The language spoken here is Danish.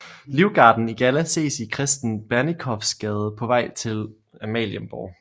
Livgarden i galla ses i Kristen Bernikowsgade på vej til Amalienborg